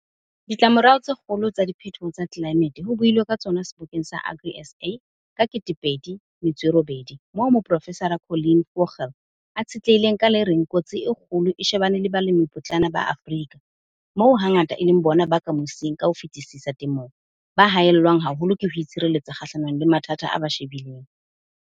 Ditlamorao tse kgolo tsa diphetoho tsa tlelaemete ho builwe ka tsona Sebokeng sa AgriSA ka 2008 moo Moprofesara Colleen Vogel a tshetlehileng ka le reng kotsi e kgolo e shebane le balemipotlana ba Afrika, moo hangata e leng bona ba ka mosing ka ho fetisisa temong, ba haellwang haholo ke ho itshireletsa kgahlanong le mathata a ba shebileng.